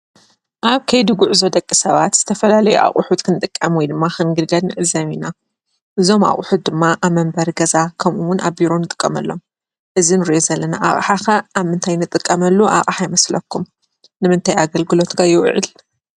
ኣብ ከይዲ ጉዕዞ ደቂ ሰባት ዝተፈላለዩ ኣቁሑት ክንጥቀም ወይ ድማ ክንግልገል ንዕዘብ ኢና:: እዞም ኣቁሑት ድማ ኣብ መንበሪ ገዛ ከምኡ እውን ኣብ ቢሮ ንጥቀመሎም:: እዚ ንሪኦ ዘለና ኣቅሓ ከ ኣብ ምንታይ ንጥቀመሉ ኣቅሓ ይመስለኩም? ንምንታይ ኣገልግሎት ከ ይውዕል?